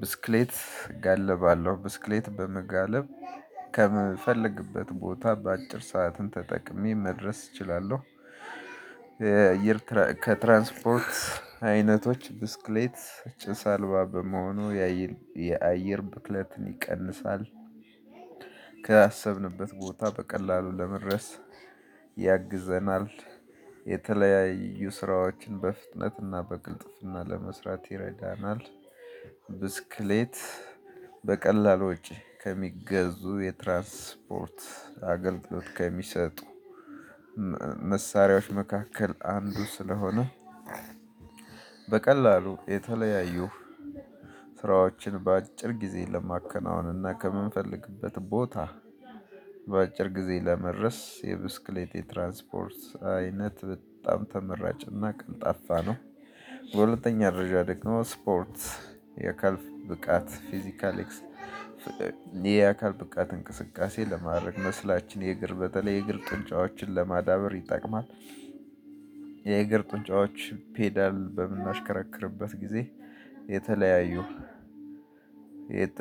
ብስክሌት እጋልባለሁ ብስክሌት በመጋለብ ከምፈልግበት ቦታ በአጭር ሰዓትን ተጠቅሜ መድረስ እችላለሁ። የአየር ከትራንስፖርት አይነቶች ብስክሌት ጭስ አልባ በመሆኑ የአየር ብትለትን ይቀንሳል። ከአሰብንበት ቦታ በቀላሉ ለመድረስ ያግዘናል የተለያዩ ስራዎችን በፍጥነትና በቅልጥፍና ለመስራት ይረዳናል። ብስክሌት በቀላሉ ወጪ ከሚገዙ የትራንስፖርት አገልግሎት ከሚሰጡ መሳሪያዎች መካከል አንዱ ስለሆነ። በቀላሉ የተለያዩ ስራዎችን በአጭር ጊዜ ለማከናወንና ከምንፈልግበት ቦታ በአጭር ጊዜ ለመድረስ የብስክሌት የትራንስፖርት አይነት በጣም ተመራጭና ቀልጣፋ ነው። በሁለተኛ ደረጃ ደግሞ ስፖርት አካል ብቃት ፊዚካል የአካል ብቃት እንቅስቃሴ ለማድረግ መስላችን የእግር በተለይ የእግር ጡንጫዎችን ለማዳበር ይጠቅማል። የእግር ጡንጫዎች ፔዳል በምናሽከረክርበት ጊዜ የተለያዩ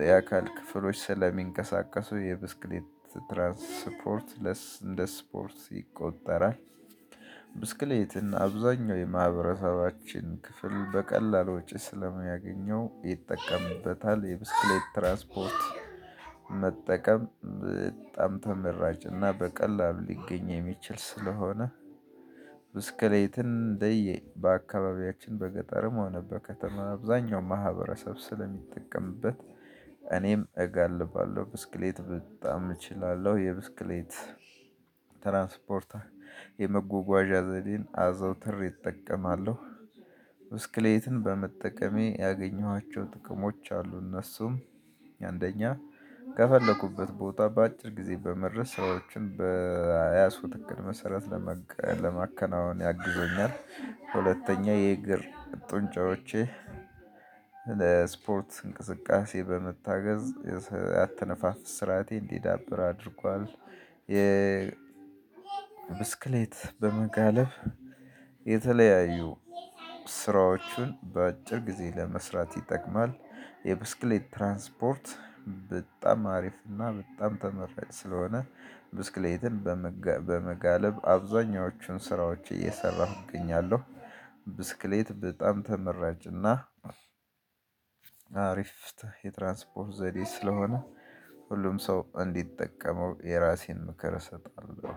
የአካል ክፍሎች ስለሚንቀሳቀሱ የብስክሌት ትራንስፖርት እንደ ስፖርት ይቆጠራል። ብስክሌት እና አብዛኛው የማህበረሰባችን ክፍል በቀላሉ ወጪ ስለሚያገኘው ይጠቀምበታል የብስክሌት ትራስፖርት መጠቀም በጣም ተመራጭ እና በቀላሉ ሊገኝ የሚችል ስለሆነ። ብስክሌትን እንደየ አካባቢያችን በገጠርም ሆነ በከተማ አብዛኛው ማህበረሰብ ስለሚጠቀምበት። እኔም እጋልባለሁ ብስክሌት በጣም እችላለሁ የብስክሌት ትራንስፖርት የመጓጓዣ ዘዴን አዘውትሬ እጠቀማለሁ። ብስክሌትን በመጠቀሜ ያገኘኋቸው ጥቅሞች አሉ እነሱም። የአንደኛ ከፈለኩበት ቦታ በአጭር ጊዜ በመድረስ ሰዎችን በያዙት ዕቅድመሰረት ለመከናወን ያግዘኛል። ሁለተኛ የእግር ጡንጫዎቼ ለስፖርት እንቅስቃሴ በመታገዝ ያተነፋፍ ስራቴ እንዲዳብር አድርጓል። የ ብስክሌት በመጋለፍብ የተለያዩ ስራዎችን በአጭር ጊዜ ለመስራት ይጠቅማል። የብስክሌት ትራንስፖርት በጣም አሪፍ እና በጣም ተመራጭ ስለሆነ። ብስክሌትን በመጋለብ አብዛኛዎቹን ስራዎች እየሰራሁ እገኛለሁ። ብስክሌት በጣም ተመራጭና አሪፍ የትራንስፖርት ዘዴ ስለሆነ። ሁሉም ሰው እንዲጠቀመው የራሴን ምክር እሰጣለሁ።